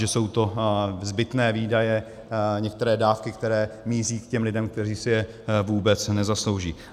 Že jsou to zbytné výdaje, některé dávky, které míří k těm lidem, kteří si je vůbec nezaslouží.